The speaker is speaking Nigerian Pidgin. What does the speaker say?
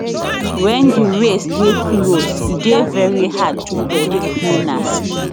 wen di race dey close e dey veri hard to predict winners